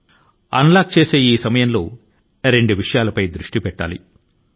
ఈ unlock కాలం లో ఎవరైనా రెండు అంశాల మీద శ్రద్ధ వహించవలసివుంటుంది